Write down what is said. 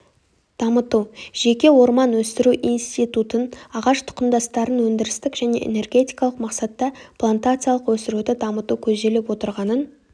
дамыту жеке орман өсіру институтын ағаштұқымдастарын өндірістік және энергетикалық мақсатта плантациялық өсіруді дамыту көзделіп отырғанын